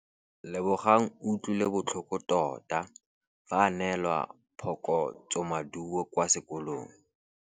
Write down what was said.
Lebogang o utlwile botlhoko tota fa a neelwa phokotsômaduô kwa sekolong.